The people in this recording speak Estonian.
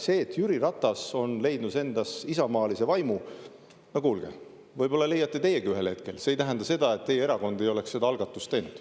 See, et Jüri Ratas on leidnud endas isamaalise vaimu – no kuulge, võib-olla leiate teiegi ühel hetkel, see ei tähenda seda, et teie erakond ei oleks seda algatust teinud.